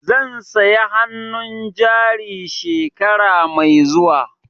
Zan saya hannun jari shekara mai zuwa.